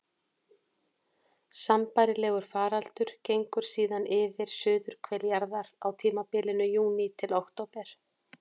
Sambærilegur faraldur gengur síðan yfir suðurhvel jarðar á tímabilinu júní til október.